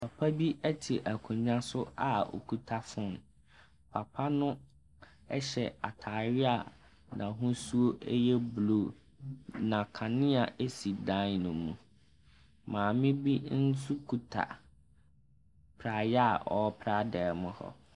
Papa bi te akonnwa so a okita phone. Papa no hyɛ atadeɛ a n'ahosuo yɛ blue. Na kanea si dan no mu. Maame bi nso kuta praeɛ a ɔrepra dan mu hɔ.